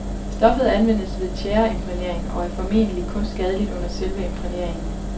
Stoffet anvendes ved tjæreimprægnering, og er formentlig kun skadeligt under selve imprægneringen.